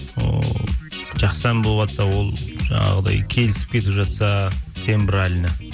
ыыы жақсы ән болыватса ол жаңағындай келісіп кетіп жатса тембриально